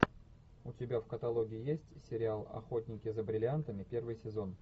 у тебя в каталоге есть сериал охотники за бриллиантами первый сезон